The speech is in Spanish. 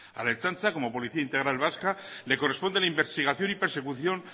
a la ertzaintza como policía integral vasca le corresponde la investigación y persecución